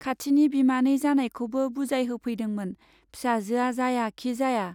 खाथिनि बिमानै जानायखौबो बुजाय होफैदोंमोन, फिसाजोआ जाया खि जाया।